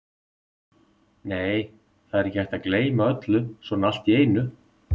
Nei, það er ekki hægt að gleyma öllu svona allt í einu.